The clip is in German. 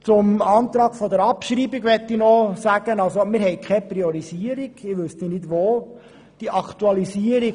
Zum Antrag auf Abschreibung: Wir haben keine Priorisierung, ich wüsste nicht, wo sich diese befände.